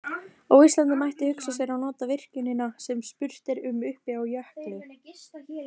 Á Íslandi mætti hugsa sér að nota virkjunina sem spurt er um uppi á jökli.